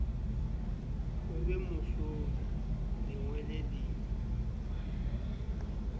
o be mohlodi lengwele le